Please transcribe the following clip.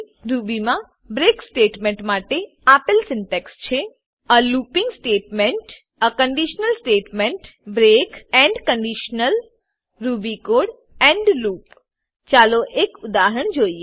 રૂબીમાં break break statement માટે આપેલ syntax છે એ લૂપિંગ સ્ટેટમેન્ટ લૂપીંગ સ્ટેટમેંટ એ conditional statement conditional statement break break end conditional end conditional Ruby code Ruby code end loop end loop ચાલો એક ઉદાહરણ જોઈએ